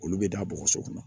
Olu bɛ da bɔgɔso kɔnɔ